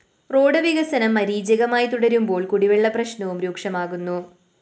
road വികസനം മരീചികയായി തുടരുമ്പോള്‍ കുടിവെള്ള പ്രശ്നവും രൂക്ഷമാകുന്നു